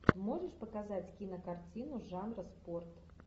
можешь показать кинокартину жанра спорт